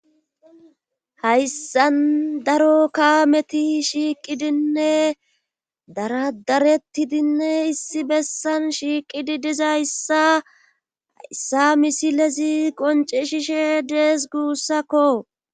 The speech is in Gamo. hayssan daro kaameti shiiqidinne daradaretidinne issi bessan shiiqidi dizayssa hayssa misilezi qoncisishes dees guussakko